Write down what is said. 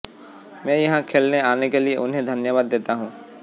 मैं यहां खेलने आने के लिए उन्हें धन्यवाद देता हूं